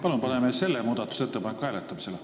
Palun paneme selle muudatusettepaneku hääletusele!